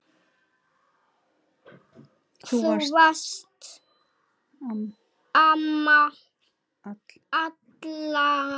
Þú varst amma allra.